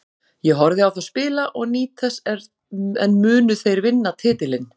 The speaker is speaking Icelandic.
Ég horfi á þá spila og nýt þess en munu þeir vinna titilinn?